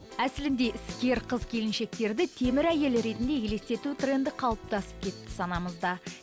әсілінде іскер қыз келіншектерді темір әйел ретінде елестету тренді қалыптасып кетті санамызда